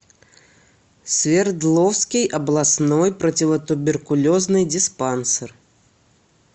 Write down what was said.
свердловский областной противотуберкулезный диспансер